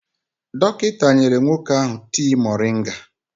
Dọkịta nyere nwoke ahụ tii moringa.